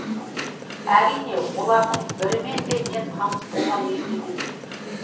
әрине олардың бірімен де мен таныс болған